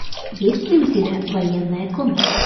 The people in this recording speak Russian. есть ли у тебя военная комната